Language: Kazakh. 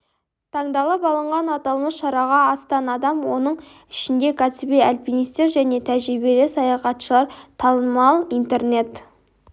таңдалып алынған аталмыш шараға астам адам оның ішінде кәсіби альпинистер және тәжірибелі саяхатшылар танымал интернет